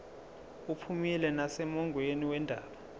uphumile nasemongweni wendaba